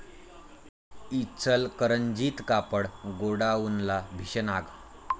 इचलकरंजीत कापड गोडाऊनला भीषण आग